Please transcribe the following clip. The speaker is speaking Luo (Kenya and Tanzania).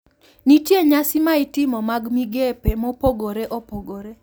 Nitie nyasi ma itimo mag migepe mopogore opogore